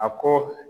A ko